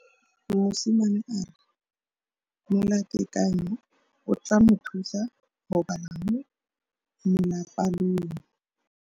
Mosimane a re molatekanyô o tla mo thusa go bala mo molapalong.